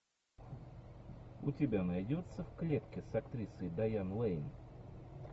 у тебя найдется в клетке с актрисой дайан лэйн